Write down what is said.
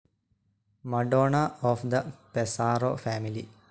Madonna of the Pesaro family,